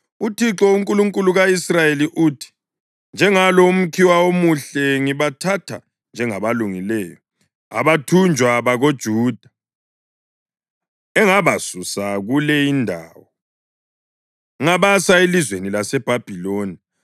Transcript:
“ UThixo, uNkulunkulu ka-Israyeli uthi, ‘Njengalo umkhiwa omuhle, ngibathatha njengabalungileyo abathunjwa bakoJuda, engabasusa kule indawo ngabasa elizweni laseBhabhiloni.